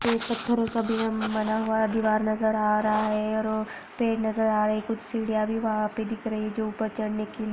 बना हुआ है दीवार नजर आ रहा है और पेड़ नजर आ रहे है कुछ सिडिया भी वहा पे दिख रही है जो ऊपर छड़ने के लिए--